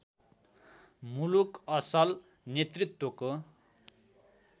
मुलुक असल नेतृत्वको